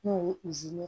N'o ye ye